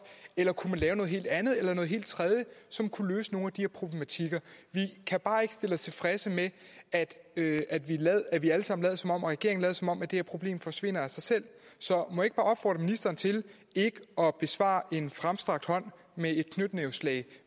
eller lave noget helt andet eller noget helt tredje som kunne løse nogle af de her problematikker vi kan bare ikke stille os tilfredse med at at vi alle sammen og regeringen lader som om det her problem forsvinder af sig selv så må jeg ikke bare opfordre ministeren til ikke at besvare en fremstrakt hånd med et knytnæveslag